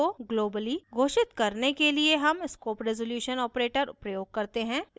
static variable को globally घोषित करने के लिए हम scope रेज़ोल्यूशन operator प्रयोग करते हैं